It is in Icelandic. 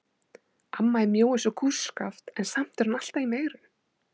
Amma er mjó eins og kústskaft en samt er hún alltaf í megrun.